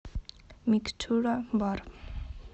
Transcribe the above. микстура бар